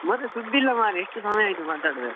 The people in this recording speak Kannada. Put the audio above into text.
ಮತ್ತೆ ಸುದ್ದಿ ಇಲ್ಲ ಮರ್ರೆ ಎಷ್ಟ್ ಸಮಯ ಆಯ್ತು ಮಾತಾಡ್ದೆ.